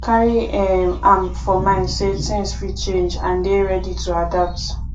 carry um am for mind sey things fit change and dey ready to adapt